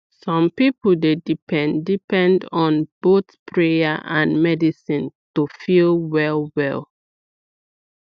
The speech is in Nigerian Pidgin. some people dey depend depend on both prayer and medicine to feel well well